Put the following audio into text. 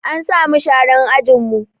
An sa mu sharan ajin mu